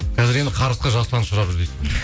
қазір енді қарғысқа жасұлан ұшырап жүр дейсіз